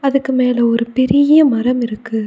அதுக்கு மேல ஒரு பெரிய மரமிருக்கு.